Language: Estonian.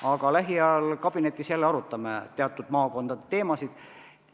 Aga lähiajal kabinetis jälle arutame teatud maakondade teemasid.